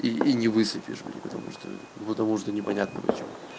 и и не высыпешь бля потому что ну потому что непонятно почему